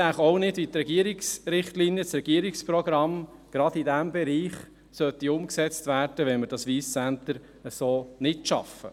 Ich sehe auch nicht, wie die Regierungsrichtlinien, das Regierungsprogramm gerade in diesem Bereich umgesetzt werden sollten, wenn wir das Wyss Centre so nicht schaffen.